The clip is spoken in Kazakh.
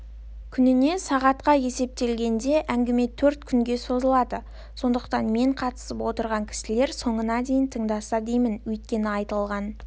күніне сағатқа есептелінген әңгіме төрт күнге созылады сондықтан мен қатысып отырған кісілер соңына дейін тыңдаса деймін өйткені айтылған